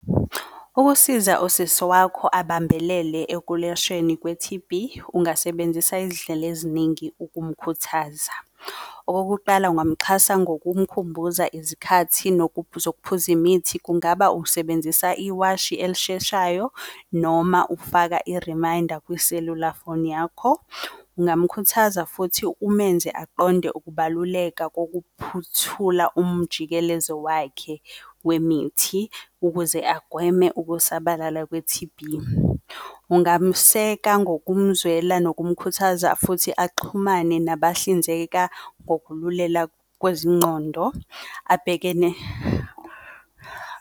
Ukusiza usisi wakho ubambelele ekulashweni kwe-T_B, ungasebenzisa izindlela eziningi ukumkhuthaza. Okokuqala ungamuxhasa ngokumkhumbuza izikhathi nokuphuza, ukphuza imithi. Kungaba usebenzisa iwashi elisheshayo noma ufaka i-reminder kwiselula foni yakho. Kungamukhuthaza futhi umenze aqonde ukubaluleka kokuphuthula umjikelezo wakhe wemithi, ukuze agweme ukusabalala kwe-T_B. Ungamuseka ngokumzwela nokumkhuthaza futhi axhumane nabahlinzeka ngokululela kwezingqondo abhekene.